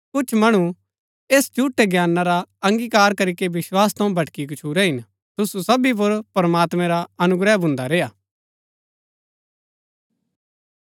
कुछ मणु ऐस झूठै ज्ञाना रा अंगीकार करीके विस्वास थऊँ भटकी गच्छुरै हिन तुसु सबी पुर प्रमात्मैं रा अनुग्रह भुन्दा रेय्आ